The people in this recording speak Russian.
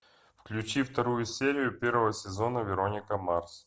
включи вторую серию первого сезона вероника марс